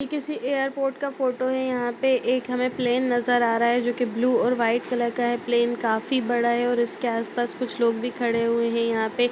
ये किसी एयरपोर्ट का फोटो है यहाँ पे एक हमे प्लेन नजर आ रहा है जो की ब्लू और व्हाइट कलर का है प्लेन काफी बड़ा है और उस के आसपास कुछ लोग भी खड़े हुए हैं यहाँ पे।